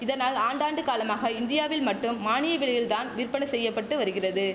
இதனால் ஆண்டாண்டு காலமாக இந்தியாவில் மட்டும் மானிய விலையில் தான் விற்பனை செய்ய பட்டு வருகிறது